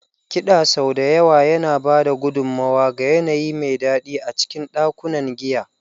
Kiɗa sau da yawa yana ba da gudummawa ga yanayi mai daɗi a cikin ɗakunan giya.